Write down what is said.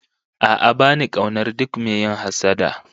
A'a ba ni kaunar duk mai yin hassada